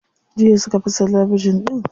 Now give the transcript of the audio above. Jiya suka fasa talabijin din.